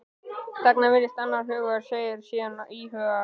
Þagnar, virðist annars hugar, segir síðan íhugul